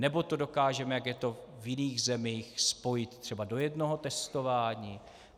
Nebo to dokážeme, jak je to v jiných zemích, spojit třeba do jednoho testování?